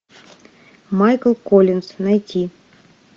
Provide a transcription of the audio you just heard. майкл коллинз найти